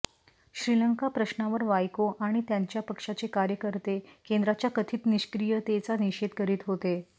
श्रीलंका प्रश्नावर वायको आणि त्यांच्या पक्षाचे कार्यकर्ते केंद्राच्या कथित निष्क्रीयतेचा निषेध करीत होते